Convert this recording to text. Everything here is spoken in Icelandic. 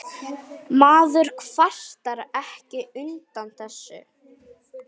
Maður kvartar ekki undan þessu.